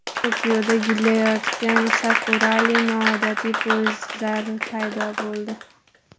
Tokioda gullayotgan sakurali noodatiy poyezdlar paydo bo‘ldi.